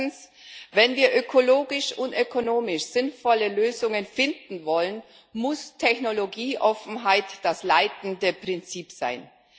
Erstens Wenn wir ökologisch und ökonomisch sinnvolle Lösungen finden wollen, muss Technologieoffenheit das leitende Prinzip sein.